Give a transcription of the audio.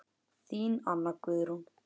Þín Anna Guðrún.